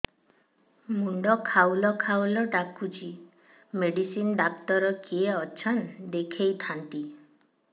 ମୁଣ୍ଡ ଖାଉଲ୍ ଖାଉଲ୍ ଡାକୁଚି ମେଡିସିନ ଡାକ୍ତର କିଏ ଅଛନ୍ ଦେଖେଇ ଥାନ୍ତି